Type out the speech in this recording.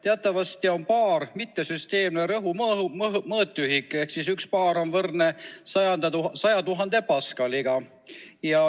Teatavasti on baar mittesüsteemne rõhu mõõtühik ehk 1 baar on võrdne 100 000 paskaliga.